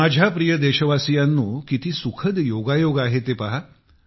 माझ्या प्रिय देशवासियांनो किती सुखद योगायोग आहे ते पहा